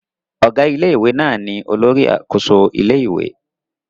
Ọ̀gá ilé-ìwé náà ni olórí àkóso ilé-ìwé